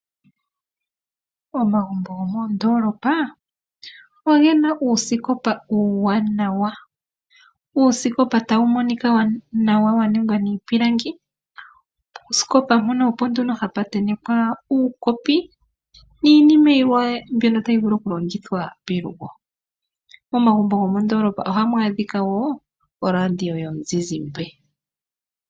Omagumbo gomondoolopa oge na uusikopa uuwanawa. Uusikopa tawu monika nawa wa ningwa miipilangi. Oosikopa opo nduno hapu ntentekwa uukopi niinima yilwe mbyono tayi vulu okulongithwa pelugo. Momagumbo gomondoolopa ohamu a dhika woo oradio yomuzizimba.